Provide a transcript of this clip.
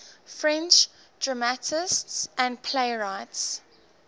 french dramatists and playwrights